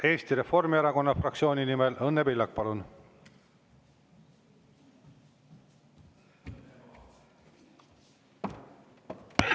Eesti Reformierakonna fraktsiooni nimel Õnne Pillak, palun!